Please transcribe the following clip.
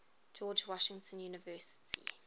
george washington university